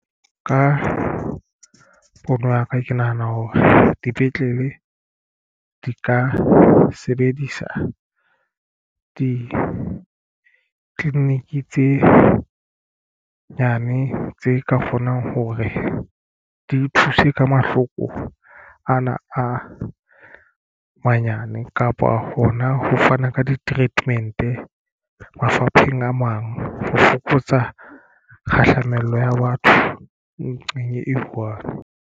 Ka pono ya ka ke nahana hore dipetlele di ka sebedisa ditleliniki tse nyane tse ka kgonang hore di thuse ka mahloko ana a manyane kapa hona ho fana ka di-treatment mafapheng a mang ho fokotsa kgahlamelo ya batho nqeng e one.